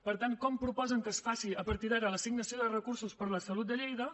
per tant com proposen que es faci a partir d’ara l’assignació de recursos per a la salut de lleida